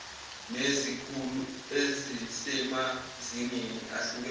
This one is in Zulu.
nezikhulu ezisemazingeni ahlukene